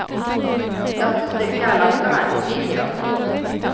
Dette stykket er lettere enn de tidligere.